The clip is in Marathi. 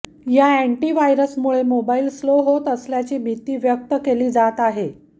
या अॅन्टी व्हायरसमुळे मोबाईल स्लो होत असल्याची भिती व्यक्त केली जात आहे